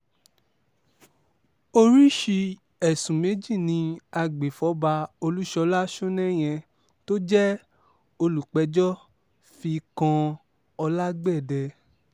oríṣìí ẹ̀sùn méjì ni àgbéfọ́ba olúṣọlá sọnẹ́yẹ tó jẹ́ olùpẹ̀jọ́ fi kan olágbẹ̀dẹ